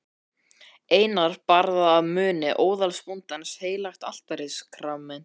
Einar bar að munni óðalsbóndans heilagt altarissakramenti.